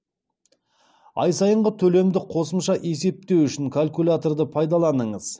ай сайынғы төлемді қосымша есептеу үшін калькуляторды пайдаланыңыз